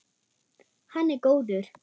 Hann er góður.